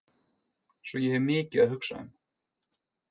Svo ég hef mikið að hugsa um.